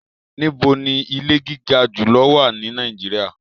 Níbò ní ìlẹ̀ gigà júlọ̀ wà ní Nàìjíríà?